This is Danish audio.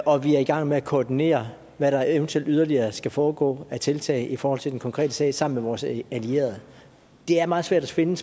og vi er i gang med at koordinere hvad der eventuelt yderligere skal foregå af tiltag i forhold til den konkrete sag sammen med vores allierede det er meget svært at finde